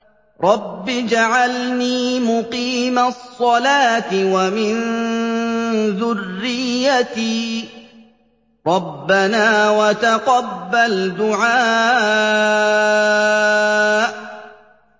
رَبِّ اجْعَلْنِي مُقِيمَ الصَّلَاةِ وَمِن ذُرِّيَّتِي ۚ رَبَّنَا وَتَقَبَّلْ دُعَاءِ